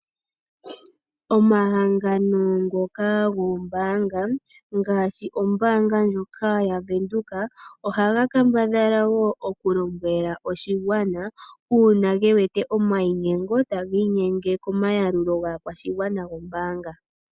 Omahangano ngoka goombaanga, ngaashi ombaanga ndjoka yavenduka, ohaga kambadhala wo okulombwela oshigwana, uuna gewete omainyengo tagiinyenge komayalulo gaakwashigwana gombaanga.